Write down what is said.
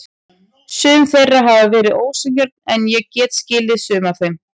Sum þeirra hafa verið ósanngjörn en ég get skilið sum af þeim.